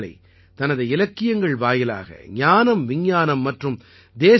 अर्थात हमारी संस्कृत भाषा सरस भी है सरल भी है |